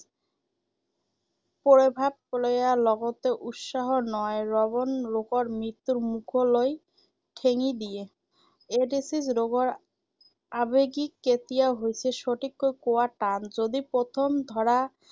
প্ৰভাৱ লৈয়া লগতে উৎসাহৰ নহয় বৰং ৰোগৰ মৃত্যুৰ মুখলৈহে ঠেলি দিয়ে। এইড্‌ছ ৰোগৰ আৱেগিক কেতিয়া হৈছে সঠিককৈ কোৱা টান। যদি প্ৰথম ধৰা